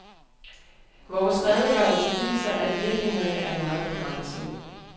Vores redegørelse viser, at virkningerne er meget begrænsede.